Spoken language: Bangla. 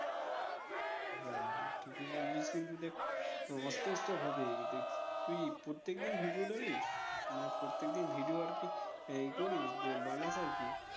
হ্যাঁ হ্যাঁ ঠিকই বলেছিস কিন্তু দেখ আহ অস্তে অস্তে হবেই তুই প্রত্যেকদিন video ডালিশ? মানে প্রত্যেকদিন video আরকি আহ ই করিস যে বানাস আর কি?